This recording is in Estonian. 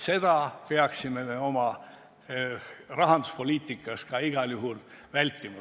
Seda peaksime me oma rahanduspoliitikas igal juhul vältima.